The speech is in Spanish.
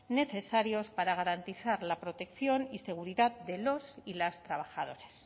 necesarios para garantizar la protección y seguridad de los y las trabajadoras